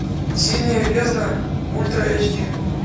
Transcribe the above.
синяя бездна ультра эйч ди